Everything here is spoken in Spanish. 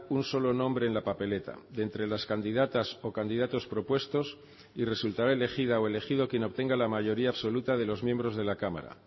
un solo nombre en la papeleta de entre las candidatas o candidatos propuestos y resultará elegida o elegido quien obtenga la mayoría absoluta de los miembros de la cámara